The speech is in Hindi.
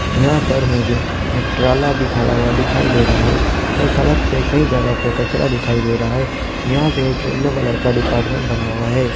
यहां पर मुझे एक खड़ा हुआ दिखाई दे रहा है और सड़क पे कई जगहों पे कचरा दिखाई दे रहा है यहां पे एक येलो कलर का डिपार्टमेंट बना हुआ है।